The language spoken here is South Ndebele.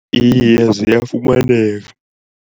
Iye ziyafumaneka.